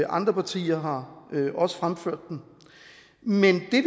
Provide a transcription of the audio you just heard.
andre partier har også fremført den men det